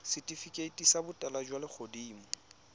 setifikeiti sa botala jwa legodimo